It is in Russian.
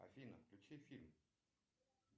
афина включи фильм